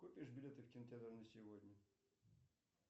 купишь билеты в кинотеатр на сегодня